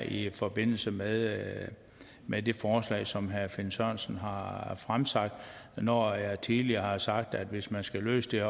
i forbindelse med med det forslag som herre finn sørensen har har fremsat når jeg tidligere har sagt at hvis man skal løse den